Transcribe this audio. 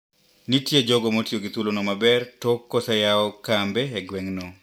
Nitie jogo motiyo gi thuolono maber tok koseyaw kembe e gweng`no.